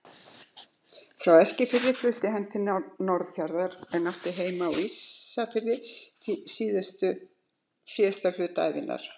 Frá Eskifirði fluttist hann til Norðfjarðar en átti heima á Ísafirði síðasta hluta ævinnar.